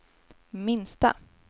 minsta